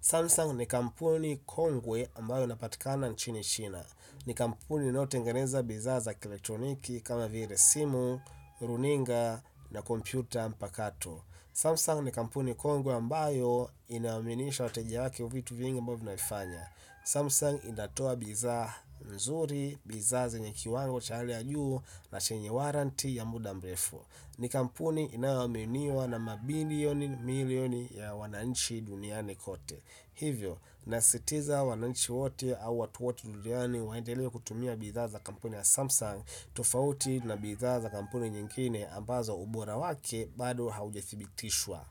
Samsung ni kampuni kogwe ambayo inapitikana nchini china ni kampuni inayotengeneza bidhaa za kielektroniki kama vile simu, runinga na kompyuta mpakato. Samsung ni kampuni kongwe ambayo inaaminisha wateja wake kwa vitu vingi ambavyo inavifanya. Samsung inatoa bidhaa nzuri, bidhaa zenye kiwango cha hali ya juu na chenye warranty ya muda mrefu. Ni kampuni inayoaminiwa na mabilioni, milioni ya wananchi duniani kote. Hivyo, nasitiza wananchi wote au watu wote duniani waendelea kutumia bidhaa za kampuni ya Samsung tofauti na bidhaa za kampuni nyingine ambazo ubora wake bado haujathibitishwa.